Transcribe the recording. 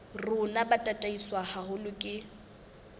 rona bo tataiswe haholo ke